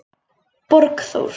Borgþór